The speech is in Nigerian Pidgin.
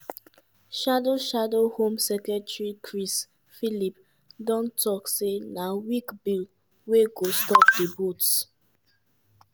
shadow shadow home secretary chris philp don tok say na "weak bill wey go stop di boats".